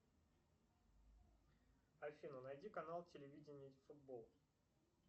афина найди канал телевидения футбол